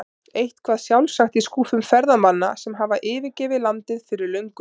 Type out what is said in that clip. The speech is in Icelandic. Eitthvað sjálfsagt í skúffum ferðamanna sem hafa yfirgefið landið fyrir löngu.